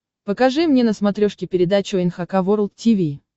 покажи мне на смотрешке передачу эн эйч кей волд ти ви